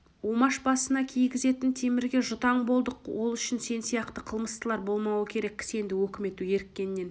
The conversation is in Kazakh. омаш басына кигізетін темірге жұтаң болдық ол үшін сен сияқты қылмыстылар болмауы керек кісенді өкімет еріккеннен